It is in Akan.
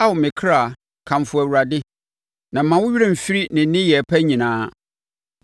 Ao me kra, kamfo Awurade, na mma wo werɛ mfiri ne nneyɛeɛ pa nyinaa,